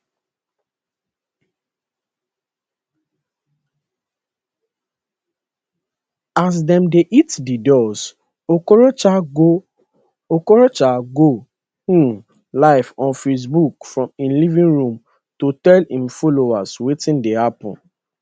as dem dey hit di doors okorocha go okorocha go um live on facebook from im living room to tell im followers wetin dey happen